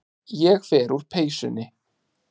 Ég fer úr peysunni.